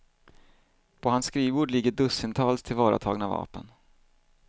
På hans skrivbord ligger dussintals tillvaratagna vapen.